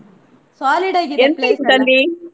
Solid ಆಗಿದೆ .